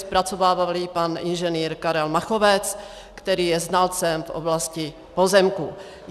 Zpracovával ji pan inženýr Karel Machovec, který je znalcem v oblasti pozemků.